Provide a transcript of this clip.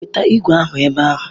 Weta igwe ahụ ebe a!